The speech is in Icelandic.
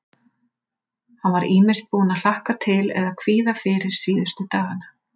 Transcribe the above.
Hann var ýmist búinn að hlakka til eða kvíða fyrir síðustu dagana.